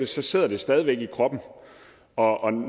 så sidder det stadig væk i kroppen og